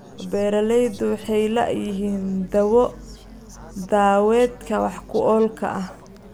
Beeraleydu waxay la'yihiin dawo-daaweedka wax-ku-oolka ah.